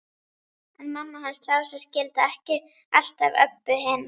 En mamma hans Lása skildi ekki alltaf Öbbu hina.